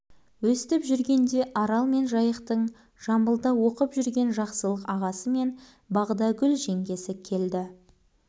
өстіп жүргенде арал мен жайықтың жамбылда оқып жүрген жақсылық ағасы мен бағдагүл жеңгесі келді